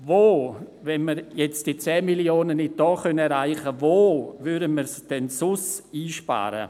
Wenn wir diese 10 Mio. Franken jetzt nicht erreichen, wo können wir sie denn sonst einsparen?